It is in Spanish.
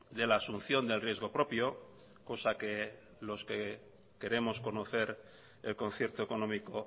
de la asunción del riesgo propio cosa que los que queremos conocer el concierto económico